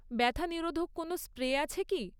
ব্যথা নিরোধক কোনও স্প্রে আছে কি?